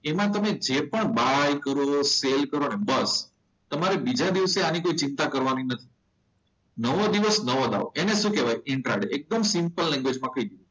એમાં તમે જે પણ બાય કરો સેલ કરો બસ તમારે બીજા દિવસે આની કોઈ ચિંતા કરવાની નથી નવો દિવસ નવો દાવ એને કહેવાય ઇન્ટ્રા ડે સિમ્પલ માં કહી દીધું.